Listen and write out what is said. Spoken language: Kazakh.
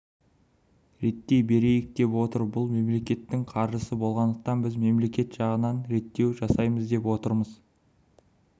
реттей берейік деп отыр бұл мемлекеттің қаржысы болғандықтан біз мемлекет жағынан реттеу жасаймыз деп отырмыз